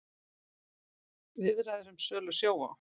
Viðræður um sölu á Sjóvá